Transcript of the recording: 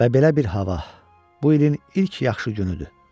Və belə bir hava, bu ilin ilk yaxşı günüdür.